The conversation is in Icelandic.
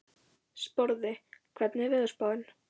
Sporði, hvernig er veðurspáin?